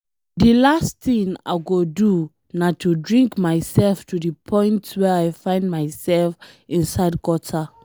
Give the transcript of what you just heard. The last thing I go do na to drink to the point where I find myself inside gutter.